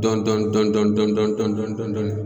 Dɔɔnin Dɔɔnin Dɔɔnin Dɔɔnin